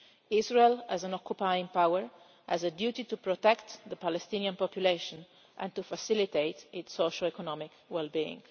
Israel, as an occupying power, has a duty to protect the Palestinian population and to facilitate its socioeconomic well being.